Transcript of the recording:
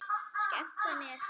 Skemmta mér?